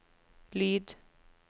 lyd